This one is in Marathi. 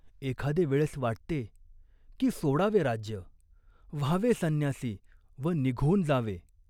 एखादे वेळेस वाटते, की सोडावे राज्य, व्हावे संन्यासी व निघून जावे.